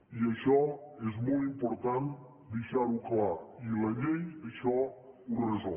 i això és molt important deixar ho clar i la llei això ho resol